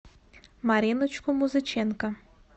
мариночку музыченко